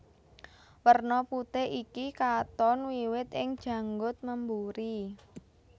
Werna putih iki katon wiwit ing janggut memburi